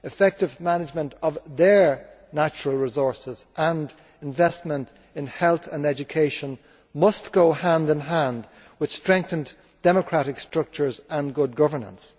Effective management of their natural resources and investment in health and education must go hand in hand with strengthened democratic structures and good governance.